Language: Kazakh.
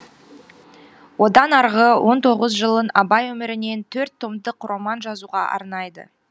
одан арғы он тоғыз жылын абай өмірінен төрт томдық роман жазуға арнайды